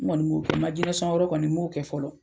N kɔni m'o kɛ . N ma jinɛ sɔn yɔrɔ kɔni, n m'o kɛ fɔlɔ.